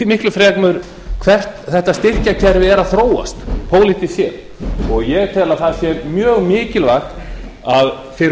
miklu fremur hvert þetta styrkjakerfi er að þróast pólitískt séð og ég tel að það sé mjög mikilvægt fyrir